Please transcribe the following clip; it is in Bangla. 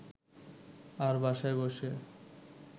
আর বাসায় বসে